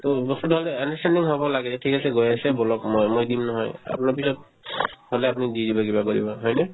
to বস্তুতো হ'ল যে আমি হ'ব লাগে এ ঠিক আছে গৈ আছে ব'লক মই মই দিম নহয় আপোনাৰ পিছত হ'লে দি দিব কিবা কৰিব হয়নে